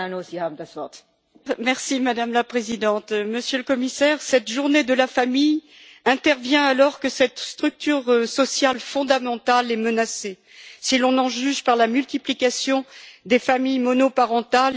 Madame la Présidente, Monsieur le Commissaire, cette journée de la famille intervient alors que cette structure sociale fondamentale est menacée, si l'on en juge par la multiplication des familles monoparentales et le déclin de la natalité.